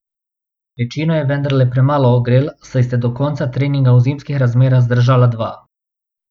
Večino je vendarle premalo ogrel, saj sta do konca treninga v zimskih razmerah zdržala dva ...